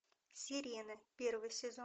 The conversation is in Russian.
сирена первый сезон